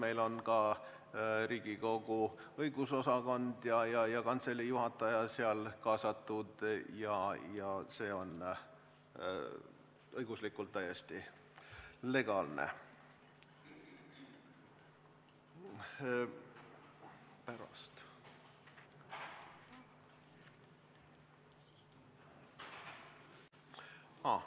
Meil on ka Riigikogu Kantselei õigus- ja analüüsiosakond ja kantselei juhataja kaasatud ja see on õiguslikult täiesti legaalne.